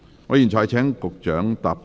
我現在請局長答辯。